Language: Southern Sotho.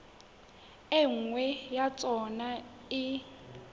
e nngwe ya tsona e